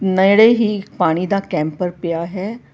ਨੇੜੇ ਹੀ ਇੱਕ ਪਾਣੀ ਦਾ ਕੈਂਪਰ ਪਿਆ ਹੈ।